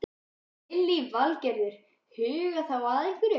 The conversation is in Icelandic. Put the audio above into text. Lillý Valgerður: Huga þá að hverju?